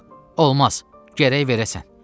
Yox, olmaz, gərək verəsən.